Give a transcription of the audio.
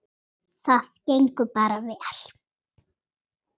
Það gengur bara vel.